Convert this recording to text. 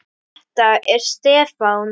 Þetta er Stefán.